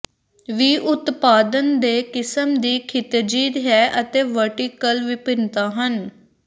ਵੀ ਉਤਪਾਦਨ ਦੇ ਕਿਸਮ ਦੀ ਖਿਤਿਜੀ ਹੈ ਅਤੇ ਵਰਟੀਕਲ ਵਿਭਿੰਨਤਾ ਹਨ